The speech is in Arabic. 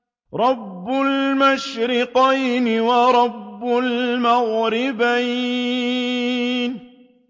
رَبُّ الْمَشْرِقَيْنِ وَرَبُّ الْمَغْرِبَيْنِ